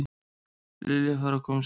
Lilja færi að koma sér út.